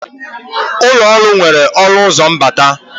Ụlọ ọrụ nwere ọnụ ụzọ mbata